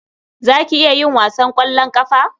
Za ki iya yin wasan ƙwallon ƙafa?